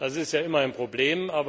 Das ist ja immer ein Problem.